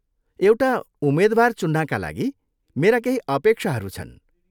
एउटा उम्मेद्वार चुन्नाका लागि मेरा केही अपेक्षाहरू छन्।